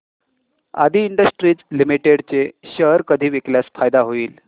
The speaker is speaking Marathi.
आदी इंडस्ट्रीज लिमिटेड चे शेअर कधी विकल्यास फायदा होईल